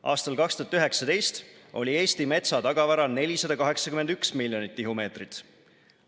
Aastal 2019 oli Eesti metsatagavara 481 miljonit tihumeetrit.